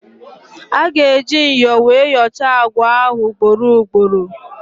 A ga-eji myọ wee yọchaa àgwà ahụ ugboro ugboro.